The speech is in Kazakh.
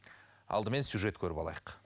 алдымен сюжет көріп алайық